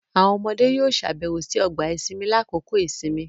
Awọn ọmọde yoo ṣabẹwo si ọgba-isinmi lakoko isinmi